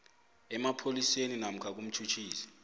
emapholiseni namkha kumtjhutjhisi